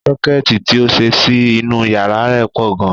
Sọ́kẹ́ẹ̀tì ti ó ṣe sí inú yàrá rẹ̀ pọ̀ gan.